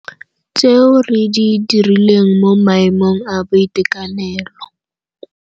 Tseo re di dirileng mo maemong a boitekanelo.